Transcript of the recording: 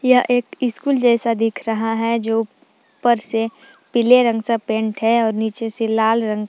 यह एक स्कूल जैसा दिख रहा है जो ऊपर से पीले रंग से पेंट है और नीचे से लाल रंग--